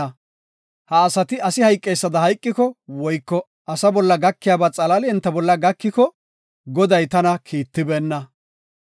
Ha asati asi hayqeysada hayqiko woyko asa bolla gakiyaba xalaali enta bolla gakiko Goday tana Kiittibeenna.